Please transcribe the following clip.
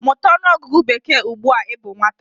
Mụta ọnụọgụgụ bekee ugbu a ị bụ nwata!